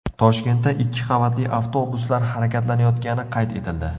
Toshkentda ikki qavatli avtobuslar harakatlanayotgani qayd etildi.